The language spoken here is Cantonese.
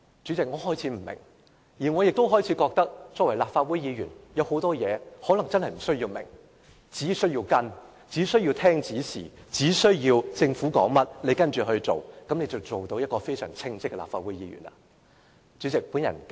我亦開始認為，作為立法會議員，有很多事情可能確實無須明白，只需要跟隨，只需要聽從指示，政府說甚麼便跟着做甚麼，這樣便能成為非常稱職的立法會議員了。